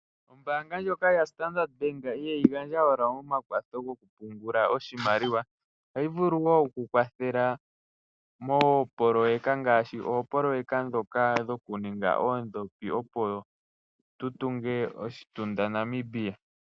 Ombaanga ndjoka yaStandard bank ihayi gandja wala omakwatho goku pungula oshimaliwa. Ohayi vulu woo oku kwathela moopoloyeka ngaashi oopoloyeka dhoka dhoku ninga oondopi opo tu tunge oshitunda Namibia.